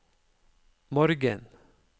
morgen